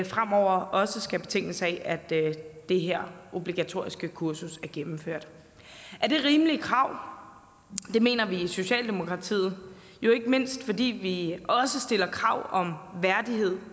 fremover også skal betinges af at det her obligatoriske kursus er gennemført er det rimelige krav det mener vi i socialdemokratiet jo ikke mindst fordi vi også stiller krav om værdighed